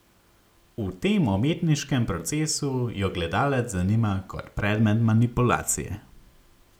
V tem umetniškem procesu jo gledalec zanima kot predmet manipulacije.